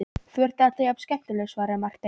Þú ert alltaf jafn skemmtilegur, svaraði Marteinn.